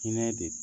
Hinɛ de